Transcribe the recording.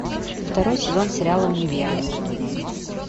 второй сезон сериала универ